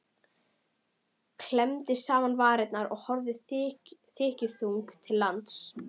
Klemmdi saman varirnar og horfði þykkjuþung til lands.